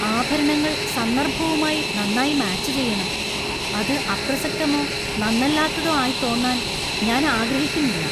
ആഭരണങ്ങൾ സന്ദർഭവുമായി നന്നായി മാച്ച് ചെയ്യണം . അത് അപ്രസക്തമോ നന്നല്ലാത്തതോ ആയി തോന്നാൻ ഞാൻ ആഗ്രഹിക്കുന്നില്ല.